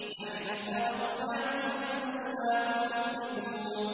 نَحْنُ خَلَقْنَاكُمْ فَلَوْلَا تُصَدِّقُونَ